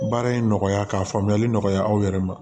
Baara in nɔgɔya ka faamuyali nɔgɔya aw yɛrɛ ma